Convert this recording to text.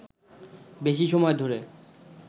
বেশি সময় ধরে